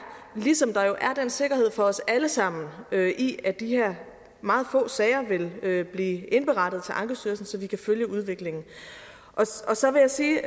ligesom der jo er den sikkerhed for os alle sammen i at de her meget få sager vil vil blive indberettet til ankestyrelsen så vi kan følge udviklingen så vil jeg sige